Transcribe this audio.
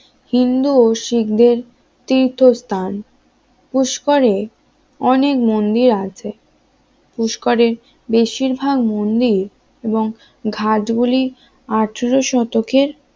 হিন্দু ও শিখদের তীর্থস্থান পুস্কারে অনেক মন্দির আছে পুরস্কারের বেশিরভাগ মন্দির ও ঘাট গুলি আঠার শতকের